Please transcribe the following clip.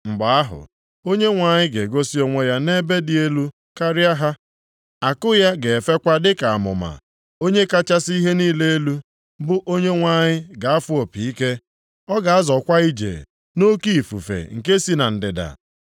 Mgbe ahụ, Onyenwe anyị ga-egosi onwe ya nʼebe dị elu karịa ha, àkụ ya ga-efekwa dịka amụma. Onye kachasị ihe niile elu, bụ Onyenwe anyị ga-afụ opi ike, ọ ga-azọkwa ije nʼoke ifufe nke si na ndịda.